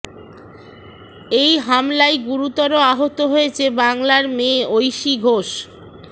এই হামলায় গুরুতর আহত হয়েছে বাংলার মেয়ে ঐশী ঘোষ